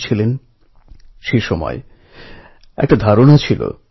জীবনের উদ্দেশ্য সম্পর্কে নীরজ বলেছিলেন